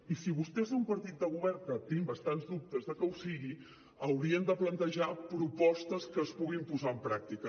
i si vostès són partit de govern que tinc bastants dubtes de que ho sigui haurien de plantejar propostes que es puguin posar en pràctica